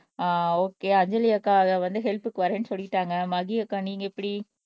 அஹ் okay Anjali அக்கா அதை வந்து ஹெல்ப்க்கு வர்றேன்னு சொல்லிட்டாங்க மதி அக்கா நீங்க எப்படி